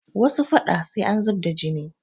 Wasu faɗa sai an zub da jini